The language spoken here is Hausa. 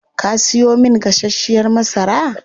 Kaa siyo min gasashiyar masara?